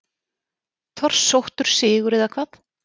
Torsóttur sigur eða hvað?